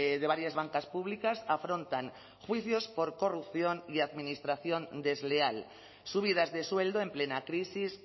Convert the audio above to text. de varias bancas públicas afrontan juicios por corrupción y administración desleal subidas de sueldo en plena crisis